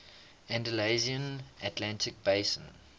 andalusian atlantic basin